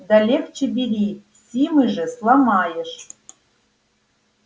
да легче бери симы же сломаешь